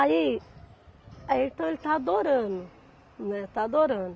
Aí, aí então, ele está adorando, né, está adorando.